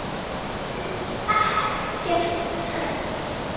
Hrund: Ekkert hrædd?